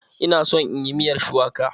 Ina son inyi miyar shuwaka.